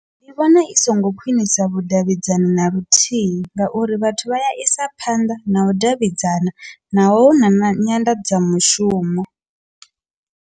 Ndi vhona i songo khwinisa vhudavhidzani na luthihi ngauri vhathu vha ya isa phanḓa na u davhidzana naho hu na na nyanḓadzamafhushumo.